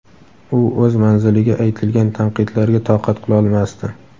u o‘z manziliga aytilgan tanqidlarga toqat qilolmasdi.